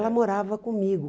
Ela morava comigo.